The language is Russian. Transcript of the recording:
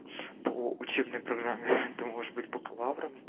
поо учебная программе ты можешь быть бакалавром